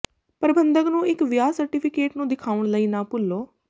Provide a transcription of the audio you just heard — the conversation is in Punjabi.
ਪ੍ਰਬੰਧਕ ਨੂੰ ਇੱਕ ਵਿਆਹ ਸਰਟੀਫਿਕੇਟ ਨੂੰ ਦਿਖਾਉਣ ਲਈ ਨਾ ਭੁੱਲੋ